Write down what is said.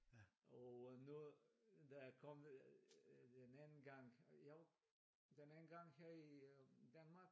Og nu da jeg kom den anden gang jo den anden gang her i øh Danmark